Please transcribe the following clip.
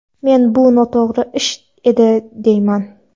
Men bu noto‘g‘ri ish edi demayman.